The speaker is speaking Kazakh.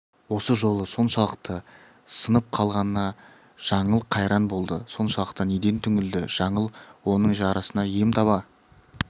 осы жолы соншалықты сынып қалғанына жаңыл қайран болды соншалықты неден түңілді жаңыл оның жарасына ем таба